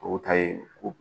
O ta ye ko